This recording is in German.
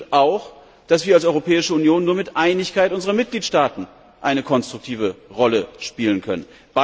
Es stimmt auch, dass wir als Europäische Union nur mit Einigkeit unserer Mitgliedstaaten eine konstruktive Rolle spielen können.